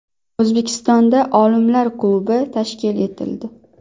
O‘zbekistonda olimlar klubi tashkil etildi.